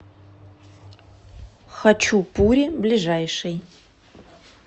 хочу пури ближайший